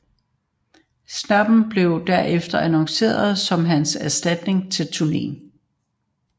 Sneap blev derefter annonceret som hans erstatning til turneen